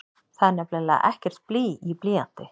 Það er nefnilega ekkert blý í blýanti!